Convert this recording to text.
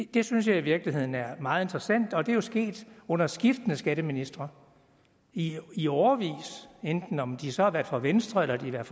det synes jeg i virkeligheden er meget interessant og det er jo sket under skiftende skatteministre i i årevis enten om de så har været fra venstre eller